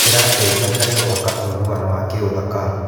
Kĩrateithia harĩ gwaka ũiguano wa kĩũthaka.